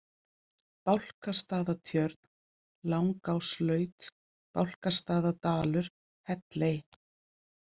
Bálkastaðatjörn, Langáslaut, Bálkastaðadalur, Helley